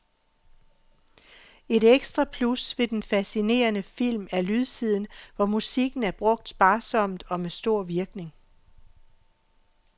Et ekstra plus ved denne fascinerende film er lydsiden, hvor musikken er brugt sparsomt og med stor virkning.